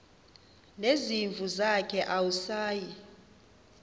nezimvu zakhe awusayi